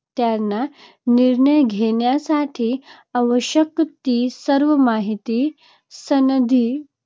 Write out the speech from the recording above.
त्यांना निर्णय घेण्यासाठी आवश्यक ती सर्व माहिती सनदी